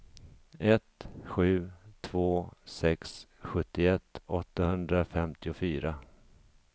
ett sju två sex sjuttioett åttahundrafemtiofyra